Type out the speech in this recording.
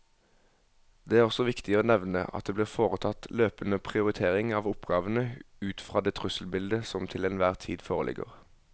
Det er også viktig å nevne at det blir foretatt løpende prioritering av oppgavene ut fra det trusselbildet som til enhver tid foreligger.